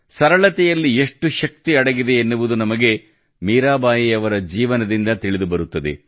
ಸರಳತೆಯಲ್ಲಿ ಎಷ್ಟು ಶಕ್ತಿ ಅಡಗಿದೆ ಎನ್ನುವುದು ನಮಗೆ ಮೀರಾಬಾಯಿಯವರ ಜೀವನದಿಂದ ನಮಗೆ ತಿಳಿದುಬರುತ್ತದೆ